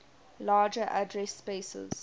larger address spaces